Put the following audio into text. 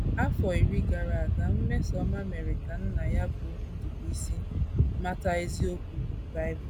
Afọ iri gara aga, Mmesommamere ka nna ya bụ́ Ndubuisi mata eziokwu Bible.